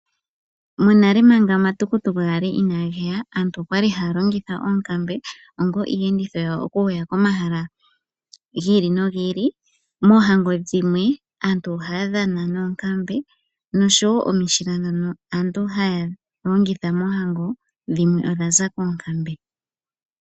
Monale manga omatukutuku ga li inaage ya aantu oya li haya longitha oonkambe onga iilongitho yawo oku ya komahala gi ili nogi ili. Moohango dhimwe aantu ohaya dhana noonkambe nosho wo omishila ndhono aantu haya longitha moohango dhimwe odha za koonkambe.